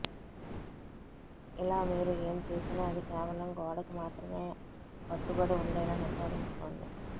ఇలా మీరు ఏమి చేసినా అది కేవలం గోడకు మాత్రమే కట్టుబడి ఉండేలా నిర్ధారించుకోండి